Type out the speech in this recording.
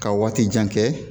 Ka waati jan kɛ